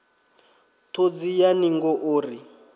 ṱhodzi ya ningo o ri